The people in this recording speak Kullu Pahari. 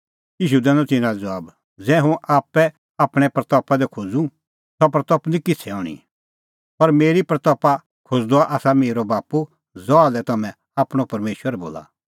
ईशू दैनअ तिन्नां लै ज़बाब ज़ै हुंह आप्पै आपणीं महिमां करूं सह महिमां निं किछ़ै हणीं पर मेरी महिमां करदअ आसा मेरअ बाप्पू ज़हा लै तम्हैं आपणअ परमेशर बोला